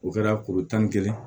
O kɛra kuru tan ni kelen